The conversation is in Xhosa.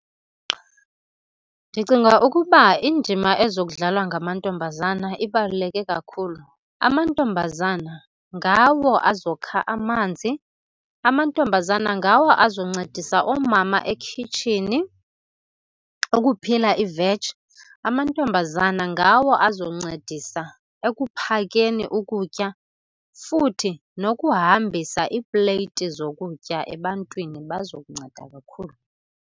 Ndicinga ukuba indima ezokudlalwa ngamantombazana ibaluleke kakhulu. Amantombazana ngawo azokha amanzi, amantombazana ngawo azoncedisa oomama ekhitshini ukuphila iveji. Amantombazana ngawo azoncedisa ekuphekeni ukutya futhi nokuhambisa iipleyiti zokutya ebantwini, bazokunceda kakhulu.